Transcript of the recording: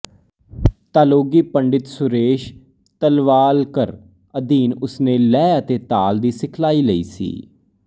ਤਾਲੋਗੀ ਪੰਡਿਤ ਸੁਰੇਸ਼ ਤਲਵਾਲਕਰ ਅਧੀਨ ਉਸਨੇ ਲੈਅ ਅਤੇ ਤਾਲ ਦੀ ਸਿਖਲਾਈ ਲਈ ਸੀ